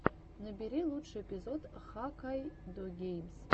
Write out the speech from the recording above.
набери лучший эпизод хаккайдогеймс